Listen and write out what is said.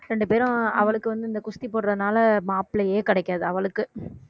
ரெண்டு பேரும் அவளுக்கு வந்து இந்த குஸ்தி போடுறதுனால மாப்பிள்ளையே கிடைக்காது அவளுக்கு